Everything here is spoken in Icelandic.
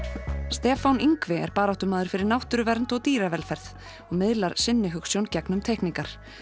Stefán Yngvi er baráttumaður fyrir náttúruvernd og dýravelferð og miðlar sinni hugsjón gegnum teikningar